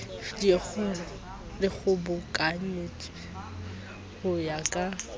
di kgobokantswe ho ya ka